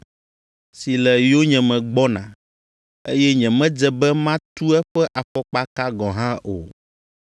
si le yonyeme gbɔna, eye nyemedze be matu eƒe afɔkpaka gɔ̃ hã o.”